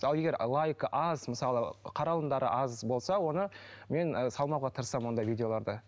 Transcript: ал егер лайк аз мысалы қаралымдары аз болса оны мен салмауға тырысамын ондай видеоларды